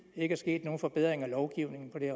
ikke er sket nogen forbedring af lovgivningen på det